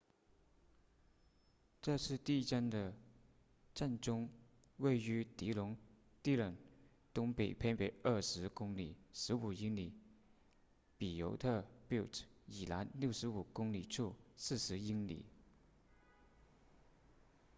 这次地震的震中位于狄龙 dillon 东北偏北20公里15英里比尤特 butte 以南65公里处40英里